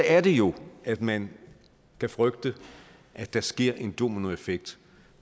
er det jo at man kan frygte at der sker en dominoeffekt